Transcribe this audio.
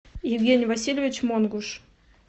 евгений васильевич монгуш